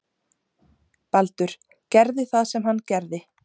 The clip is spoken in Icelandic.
Baldur gerði það sem hann gerði.